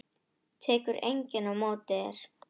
Tekur enginn á móti þér?